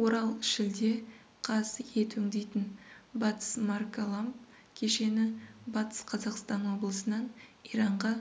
орал шілде қаз ет өңдейтін батысмаркаламб кешені батыс қазақстан облысынан иранға